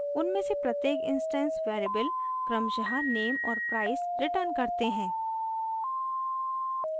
उनमें से प्रत्येक इंस्टैंस वेरिएबल क्रमशः name और price रिटर्न करते हैं